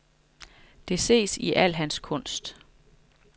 Det ses i al hans kunst.